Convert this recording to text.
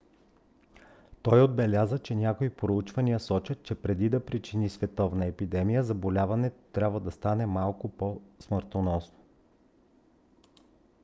той отбеляза че някои проучвания сочат че преди да причини световна епидемия заболяването трябва да стане по-малко смъртоносно